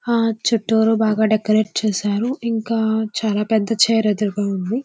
ఆ చుట్టూరు బాగా డెకరేట్ చేసారు. ఇంకా చాలా పెద్ద చైర్ ఎదురుగా ఉంది.